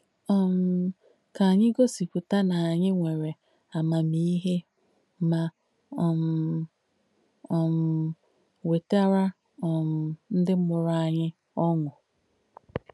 um Kà ànyì gòsìpùtà nà ànyì nwèrè àmàmìhē mà um um wètàrà um ndí mùrù ànyì ọṅụ́.